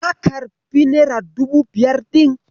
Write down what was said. Ka karɓi nera dubu biyar ɗin?